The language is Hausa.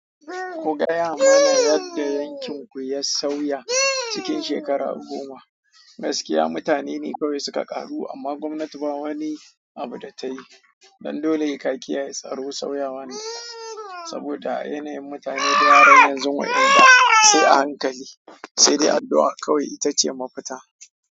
Ku gaya mana yadda yankin ku ya sauya cikin shekaru goma. Gaskiya mutane ne kawai suka ƙaru amma gwamnati ba wani abu da ta yi. Don dole he ka ki ya yi ye tsaro sauyawa nan. Saboda a yanayin mutane da yaren yanzu wai ƴaɗa sai a hankali, sai dai addu'a kawai ita ce mafita.